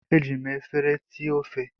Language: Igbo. Eji m efere ti ofe.